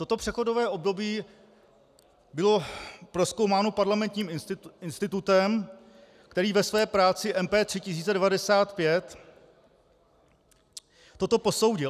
Toto přechodové období bylo prozkoumáno Parlamentním institutem, který ve své práci MP 3095 toto posoudil.